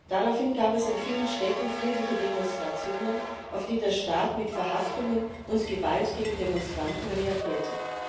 Daraufhin gab es in vielen Städten friedliche Demonstrationen, auf die der Staat mit Verhaftungen und Gewalt gegen Demonstranten reagierte.